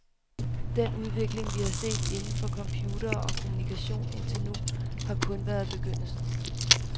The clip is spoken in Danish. Den udvikling, vi har set inden for computere og kommunikation indtil nu, har kun været begyndelsen.